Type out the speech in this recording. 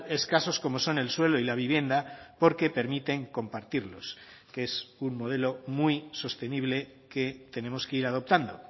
escasos como son el suelo y la vivienda porque permiten compartirlos que es un modelo muy sostenible que tenemos que ir adoptando